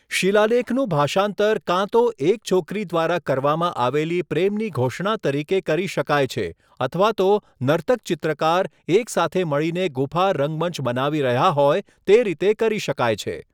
શિલાલેખનું ભાષાંતર કાં તો એક છોકરી દ્વારા કરવામાં આવેલી પ્રેમની ઘોષણા તરીકે કરી શકાય છે અથવા તો નર્તક ચિત્રકાર એક સાથે મળીને ગુફા રંગમંચ બનાવી રહ્યા હોય તે રીતે કરી શકાય છે.